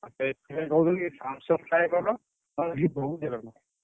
ଏଊ ସେଥିପାଇଁ କହୁଥିଲି କି Samsung ଟାଏ କର। ।